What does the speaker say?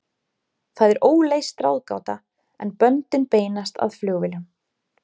Það er óleyst ráðgáta, en böndin beinast að flugvélum.